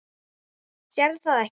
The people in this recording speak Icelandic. Sérð það ekki.